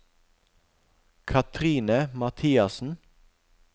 Katrine Mathiassen